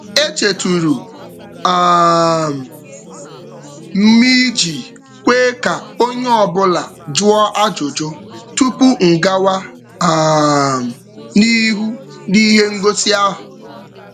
E chetụrụ um m iji kwe ka onye ọbụla jụọ ajụjụ tupu m gawa um n'ihu n'ihe ngosi ahụ.